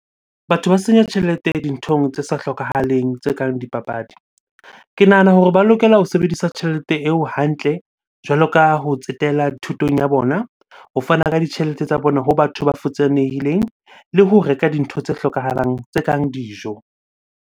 Batho ba senya tjhelete dinthong tse sa hlokahaleng tse kang dipapadi. Ke nahana hore ba lokela ho sebedisa tjhelete eo hantle jwalo ka ho tsetela thutong ya bona, ho fana ka ditjhelete tsa bona ho batho ba futsanehileng, le ho reka dintho tse hlokahalang tse kang dijo.